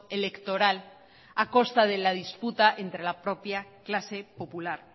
electoral acosta de la disputa entre la propia clase popular